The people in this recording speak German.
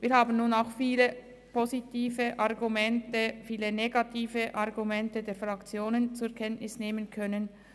Wir haben viele positive und negative Argumente von den Fraktionen zur Kenntnis nehmen können.